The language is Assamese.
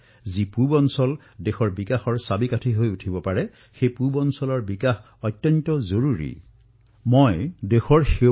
দেশৰ পূব অংশ দেশৰ উন্নতিৰ ইঞ্জিন হোৱাৰ সামৰ্থ আছে সেই অঞ্চলৰ শ্ৰমিকৰ বাহুবলত দেশক নতুন উচ্চতাত অৱৰোহণ কৰোৱাৰ সামৰ্থ আছে